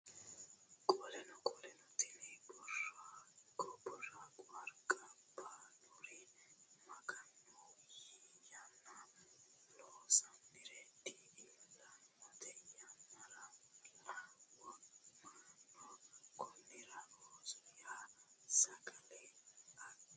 Qoleno Qoleno tini Boorago Harqa baaluri Maganu yii yanna loonsoonniri di iillinote yannaralla wo mannona Konnira ooso ya sagale adhi !